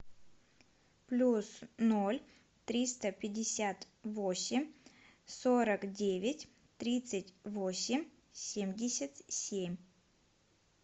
плюс ноль триста пятьдесят восемь сорок девять тридцать восемь семьдесят семь